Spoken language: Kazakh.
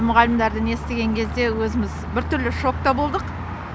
мұғалімдарден естіген кезде өзіміз біртүрлі шокта болдық